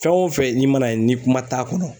Fɛn o fɛn n'i mana ye ni kuma t'a kɔnɔ